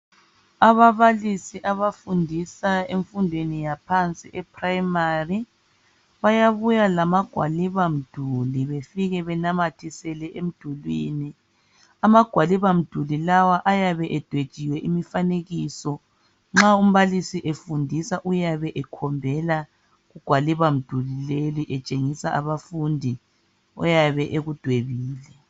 Ababalisi abafundisa emfundweni yaphansi ePrimary, bayabuya lamagwaliba mduli befike benamathisele emdulwini. Amagwaliba mduli lawa ayabe edwetshiwe imifanekiso nxa umbalisi efundisa uyabe ekhombela kugwaliba mduli leli etshengisa abafundi oyabe ekudwebile.